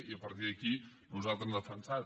i a partir d’aquí nosaltres hem defensat